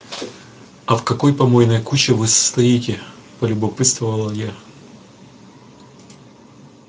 а в какой помойной куче вы состоите полюбопытствовала я